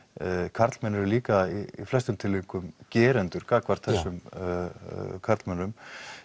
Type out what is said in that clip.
karlmenn eru líka í flestum tilfellum gerendur gagnvart þessum karlmönnum